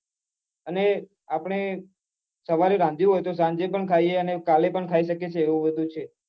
અને આપને સવારે રાંધ્યું હોય તો સાંજે પણ ખાઈએ અને કાલે પણ ખાઈ શકીએ એવું બધું છે